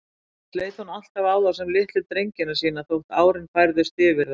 Annars leit hún alltaf á þá sem litlu drengina sína, þótt árin færðust yfir þá.